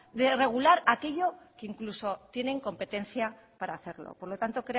de regular aquello que incluso tienen competencia para hacerlo por lo tanto